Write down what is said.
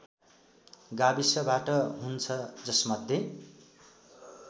गाविसबाट हुन्छ जसमध्ये